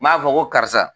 N b'a fɔ ko karisa